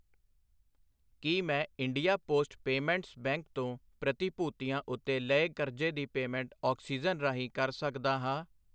ਕੀ ਮੈਂ India post payments bank ਤੋਂ ਪ੍ਰਤੀ ਭੂਤੀਆਂ ਉੱਤੇ ਲਏ ਕਰਜ਼ੇ ਦੀ ਪੇਮੈਂਟ ਓਕਸੀਜਨ ਰਾਹੀਂ ਕਰ ਸਕਦਾ ਹਾਂ?